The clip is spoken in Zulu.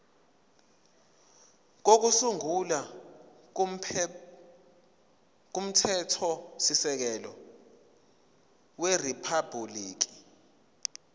kokusungula komthethosisekelo weriphabhuliki